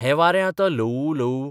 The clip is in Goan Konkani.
हें वारें आतां ल्हवू ल्हवू